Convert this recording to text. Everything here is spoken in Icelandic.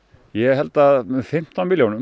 ég held að með fimmtán milljónum